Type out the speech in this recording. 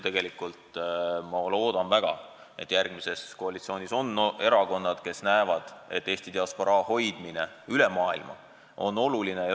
Aga ma loodan väga, et järgmises koalitsioonis on erakonnad, kes mõistavad, et Eesti diasporaa hoidmine üle maailma on oluline.